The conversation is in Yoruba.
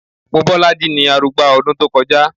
Mobọ́lájí ni arugba ọdún tó kọjá